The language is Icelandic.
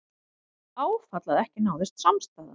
Áfall að ekki náðist samstaða